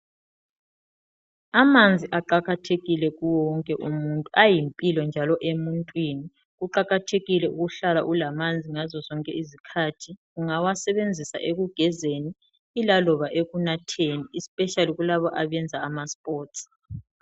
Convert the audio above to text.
Amanzi aqakathekile kuwo wonke umuntu, ayimpilo njalo emuntwini kuqakathekile ukuhlala ulamanzi ngazozonke izikhathi ungawasebenzisa ekugezeni ilaloba ekunatheni "especially" kulabo abenza ama"sports".